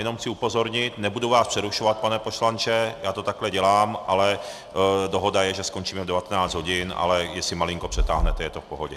Jenom chci upozornit, nebudu vás přerušovat, pane poslanče, já to takhle dělám, ale dohoda je, že skončíme v 19 hodin, ale jestli malinko přetáhnete, je to v pohodě.